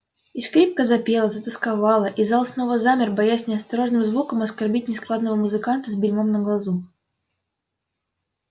и скрипка запела затосковала и зал снова замер боясь неосторожным звуком оскорбить нескладного музыканта с бельмом на глазу